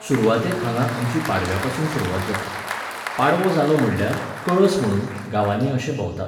सुरवातेक हांगा आमची पाडव्यापसून सुरवात जाता. पाडवो जालो म्हणल्यार, कळस म्हणून, गावांनी अशे भोंवतात